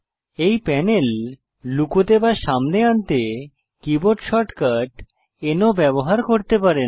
এই প্যানেল লুকোতে বা সামনে আনতে কীবোর্ড শর্টকাট N ও ব্যবহার করতে পারেন